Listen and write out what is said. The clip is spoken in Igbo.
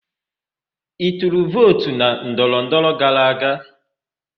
Ị tụrụ vootu na ndọrọndọrọ gara aga?